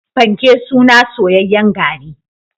panke suna soyayyen gari